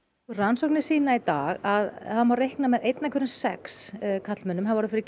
rannsóknir sýna í dag að einn af hverjum sex karlmönnum hafi orðið fyrir